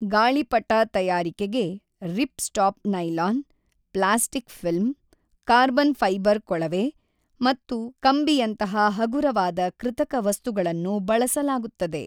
ಗಾಳಿಪಟ ತಯಾರಿಕೆಗೆ ripstop nylon, plastic film, carbon fibre ಕೊಳವೆ ಮತ್ತು ಕಂಬಿಯಂತಹ ಹಗುರವಾದ ಕೃತಕ ವಸ್ತುಗಳನ್ನು ಬಳಸಲಾಗುತ್ತದೆ.